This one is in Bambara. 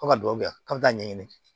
Fo ka duw kɛ k'an bɛ taa ɲɛɲini